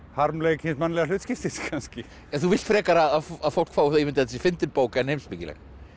harmleik hins mannlega hlutskiptis kannski þú vilt frekar að fólk fái þá ímynd að þetta sé fyndin bók en heimspekileg